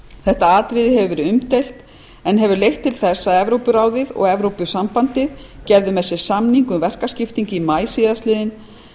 þetta atriði hefur verið umdeilt en hefur leitt til þess að evrópuráðið og evrópusambandið gerðu með sér samning um verkaskiptingu í maí síðastliðinn